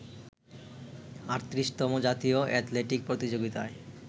৩৮তম জাতীয় অ্যাথলেটিক প্রতিযোগিতায়